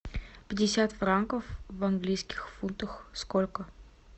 пятьдесят франков в английских фунтах сколько